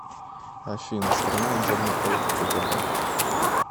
афина страна отдельный полк кгб